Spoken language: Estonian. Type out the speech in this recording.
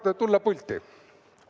Tahate tulla pulti?